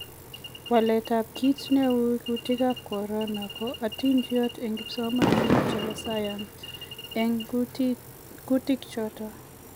Walet ab kiit neu kutiik ab corona; Ko atindoniot en kipsomanik chebo sayans en kutiik choton